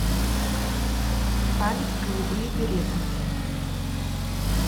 память голубые береты